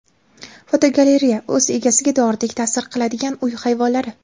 Fotogalereya: O‘z egasiga doridek ta’sir qiladigan uy hayvonlari.